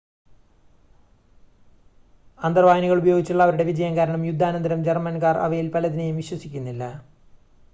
അന്തർവാഹിനികൾ ഉപയോഗിച്ചുള്ള അവരുടെ വിജയം കാരണം യുദ്ധാനന്തരം ജർമ്മൻകാർ അവയിൽ പലതിനെയും വിശ്വസിക്കുന്നില്ല